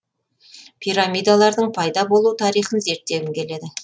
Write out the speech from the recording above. пирамидалардың пайда болу тарихын зерттегім келеді